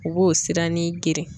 U b'o siranin geren.